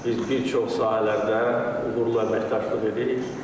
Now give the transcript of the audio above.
Biz bir çox sahələrdə uğurla əməkdaşlıq edirik.